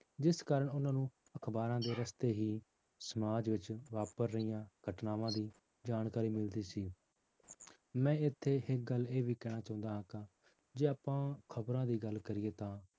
ਜਿਸ ਕਾਰਨ ਉਹਨਾਂ ਨੂੰ ਅਖ਼ਬਾਰਾਂ ਦੇ ਰਸਤੇ ਹੀ ਸਮਾਜ ਵਿੱਚ ਵਾਪਰ ਰਹੀਆਂ ਘਟਨਾਵਾਂ ਦੀ ਜਾਣਕਾਰੀ ਮਿਲਦੀ ਸੀ ਮੈਂ ਇੱਥੇ ਇੱਕ ਗੱਲ ਇਹ ਵੀ ਕਹਿਣੀ ਚਾਹੁੰਦਾ ਹਾਂ ਜੇ ਆਪਾਂ ਖ਼ਬਰਾਂ ਦੀ ਗੱਲ ਕਰੀਏ ਤਾਂ